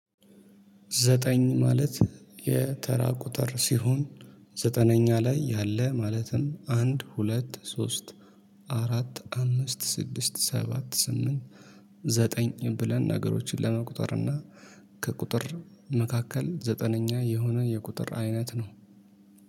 ዘጠኝ ማለት የተራ ቁጥር ሲሆን ዘጠነኛ ላይ ያለ ማለትም አንድ ሁለት ሶስት አራት አምስት ስድስት ሰባት ስምንት ዘጠኝ ብለን ነገሮችን ለመቁጠር እና ከቁጥር መካከል ዘጠነኛ የሆነ የቁጥር አይነት ነው።